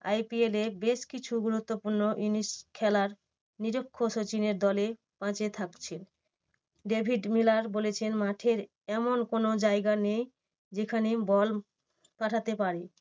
IPL এর বেশ কিছু গুরুত্বপূর্ণ জিনিস খেলার নিযুক্ত সচিনের দলে পাঁচে থাকছে। ডেভিড মিলার বলেছেন মাঠের এমন কোনো জায়গা নেই যেখানে বল পাঠাতে পারে